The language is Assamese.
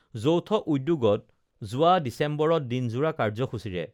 যৌথ উদ্যোগত যোৱা ডিচেম্বৰত দিনযোৰা কাৰ্যসূচীৰে